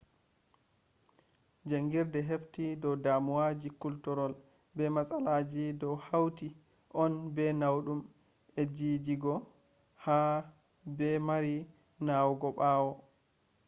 jaangirde hefti dow damuwaji kultirol be matsalaji dou hautii on bee naudum e jijigo ha bee marii nawugo bawoo